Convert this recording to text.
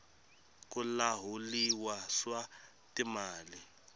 ku lahuliwa swa timali